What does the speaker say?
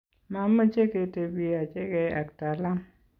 mameche ketebii achegei ak Talam